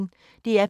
DR P1